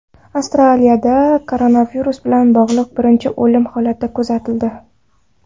Avstraliyada koronavirus bilan bog‘liq birinchi o‘lim holati kuzatildi.